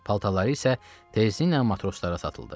Paltarları isə tezdən matroslara satıldı.